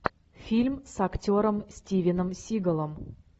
фильм с актером стивеном сигалом